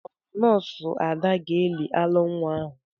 Ọ bụ nọọsụ Ada ga-eli alọ nwa ahụ?